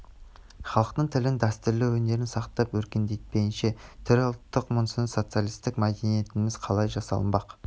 халықтың тілін дәстүрлі өнерін сақтап өркендетпейінше түрі ұлттық мазмұны социалистік мәдениетіміз қалай жасалынбақ